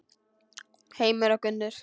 Heimir og Gunnur.